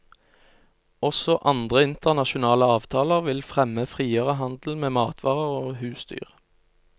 Også andre internasjonale avtaler vil fremme friere handel med matvarer og husdyr.